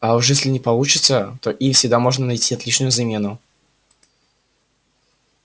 а уж если не получится то им всегда можно найти отличную замену